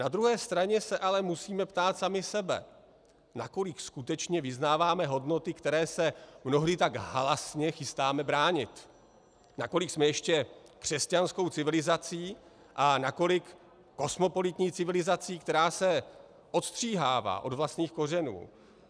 Na druhé straně se ale musíme ptát sami sebe, nakolik skutečně vyznáváme hodnoty, které se mnohdy tak halasně chystáme bránit, nakolik jsme ještě křesťanskou civilizací a nakolik kosmopolitní civilizací, která se odstříhává od vlastních kořenů.